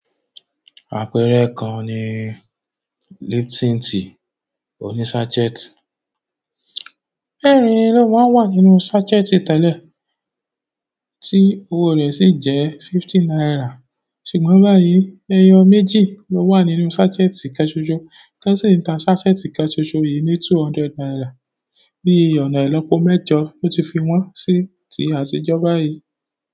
Àpẹẹrẹ kan ni Lipton Tea òní sachet, mẹ́rìn ló máa ń wà nínú sachet tẹ́lẹ̀, tí owó rẹ̀ sì jẹ́ fifty naira, ṣùgbọ́n báyìí ẹyọ méjì ló wà nínú sachet kan ṣoṣọ, ti won sì ń ta sachet kan ṣoṣọ yìí ní two hundred naira, bí ọ̀nà ìlópo mẹ́jọ ló ti fi wọ́n sí ti àtijọ́ báyìí.